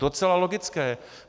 Docela logické.